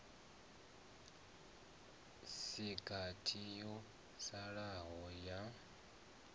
si gathi yo salaho ya